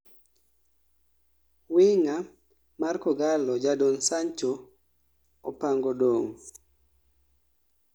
winga mar kogalo jadon sango opango dong'